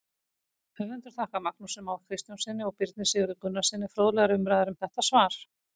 Höfundur þakkar Magnúsi Má Kristjánssyni og Birni Sigurði Gunnarssyni fróðlegar umræður um þetta svar.